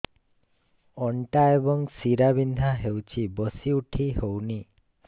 ଅଣ୍ଟା ଏବଂ ଶୀରା ବିନ୍ଧା ହେଉଛି ବସି ଉଠି ହଉନି